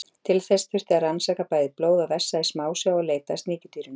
Til þess þurfti að rannsaka bæði blóð og vessa í smásjá og leita að sníkjudýrinu.